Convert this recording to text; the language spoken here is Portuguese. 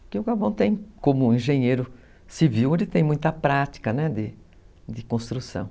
Porque o Gabão tem, como engenheiro civil, ele tem muita prática de de construção.